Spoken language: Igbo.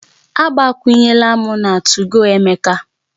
Agbakwunyela m na 2go Emeka